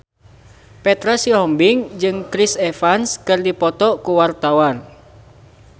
Petra Sihombing jeung Chris Evans keur dipoto ku wartawan